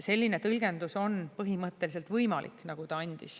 Selline tõlgendus, nagu ta andis, on põhimõtteliselt võimalik.